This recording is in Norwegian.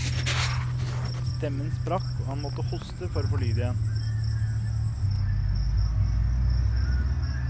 Stemmen sprakk og han måtte hoste for å få lyd i den.